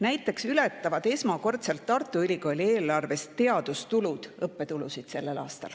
Näiteks ületavad sellel aastal esmakordselt Tartu Ülikooli eelarves teadustulud õppetulusid.